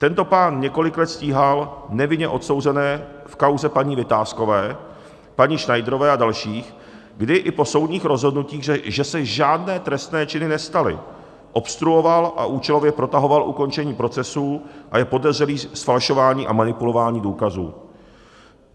Tento pán několik let stíhal nevinně odsouzené v kauze paní Vitáskové, paní Schneiderové a dalších, kdy i po soudních rozhodnutích, že se žádné trestné činy nestaly, obstruoval a účelově protahoval ukončení procesů a je podezřelý z falšování a manipulování důkazů.